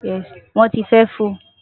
won ti fe fo